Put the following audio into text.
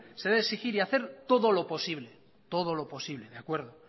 se debe exigir y hacer todo lo posible todo lo posible de acuerdo